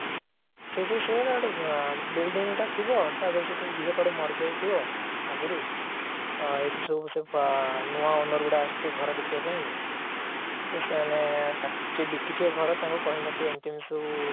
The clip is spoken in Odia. ସେଇଥିରେ ସେଇଆ ଗୋଟେ building ଟା ଥିବ ତାଧିଏରେ ଗୋଟେ ଝିଅଟା ମାରି ଯାଇଥିବ ଆଗରୁ ଆଁ ଏମିତି ସେଠି ସବୁ ନୂଆ owner ଗୁଡା ଆସିଥିବେ ସବୁ ଘର ଦେଖିବା ପାଇଁ ତ ସେମାନେ ଯିଏ ବିକିଥିବେ ଘର ସେ କହି ନଥିବେ ଏମିତି ଏମିତି ସବୁ